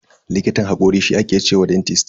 Likitan hakori shi aka ce wa dentist.